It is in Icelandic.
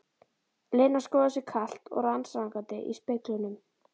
Lena skoðar sig kalt og rannsakandi í speglunum.